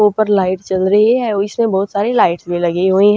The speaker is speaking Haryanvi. और ऊपर लाइट चल री ह और इसम्ह बहुत सारी लाइटस भी लगी हुई हं।